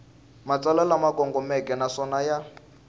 matsalwa lama kongomeke naswona ya